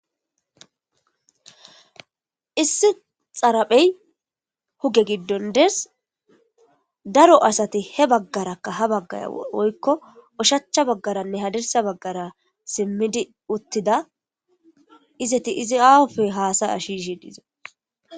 Issi xaraphey huge giddon dees daro asati he baggarakka ha baggaya woykko oshacha baggaranne hadersa baggara simmidi uttida izeti izi aufe haasay a shishi diize.